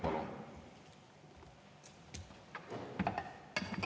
Palun!